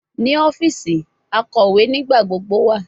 Ni ọfiisi, akọwe nigbagbogbo wa